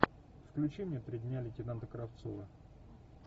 включи мне три дня лейтенанта кравцова